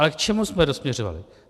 Ale k čemu jsme dosměřovali?